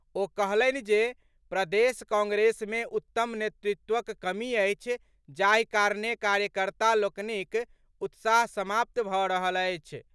ओ कहलनि जे प्रदेश कांग्रेस मे उत्तम नेतृत्वक कमी अछि जाहि कारणे कार्यकर्ता लोकनिक उत्साह समाप्त भऽ रहल अछि।